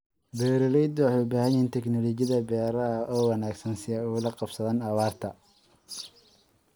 Beeralaydu waxay u baahan yihiin teknoolajiyada beeraha oo wanaagsan si ay ula qabsadaan abaarta.